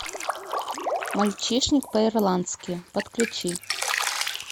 мальчишник по ирландски подключи